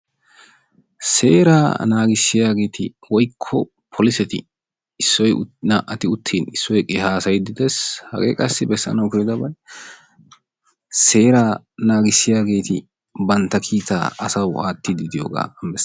Seeraa naagissiyaageeti woykko polisseti issoy woykko naa"ati uttin issoy eqqi haasayiidi dees hagee qassi besanawu koyidobay seeraa naagissiyaageeti bantta kiitaa asawu aattiidi diyogaa beessees.